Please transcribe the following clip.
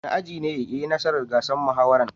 Wani aji ne ya yi nasara gasar muhawaran?